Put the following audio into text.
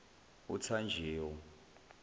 othanjewo